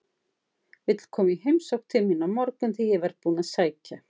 Viltu koma í heimsókn til mín á morgun þegar ég verð búinn að sækja